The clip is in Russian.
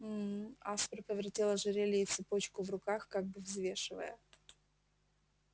мм аспер повертел ожерелье и цепочку в руках как бы взвешивая